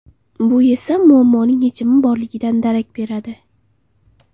Bu esa muammoning yechimi borligidan darak beradi.